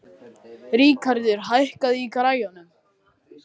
Ríkarður, hækkaðu í græjunum.